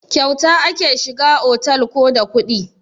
Kyata ake shiga otal ko da kuɗi?